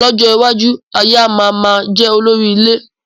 Lọ́jọ́ iwájú, aya má máa jẹ olórí ilé